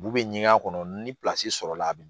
Bu bɛ ɲɛgɛn a kɔnɔ ni sɔrɔla a bi